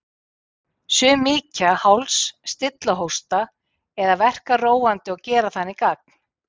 Sum mýkja háls, stilla hósta eða verka róandi og gera þannig gagn.